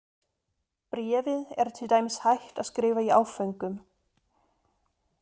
Bréfið er til dæmis hægt að skrifa í áföngum.